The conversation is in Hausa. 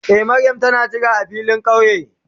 Eh Mariam ta na ka jira a filin kauye.